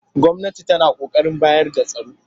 Gwamnati tana ƙoƙarin bayar da tsaro